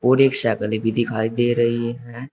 और एक साइकिले भी दिखाई दे रही है।